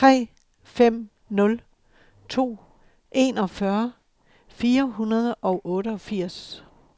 tre fem nul to enogfyrre fire hundrede og otteogfirs